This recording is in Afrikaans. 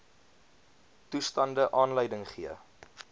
toestande aanleiding gee